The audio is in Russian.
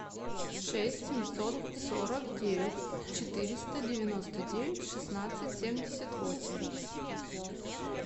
шесть семьсот сорок девять четыреста девяносто девять шестнадцать семьдесят восемь